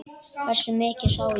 Hversu mikið ég sá?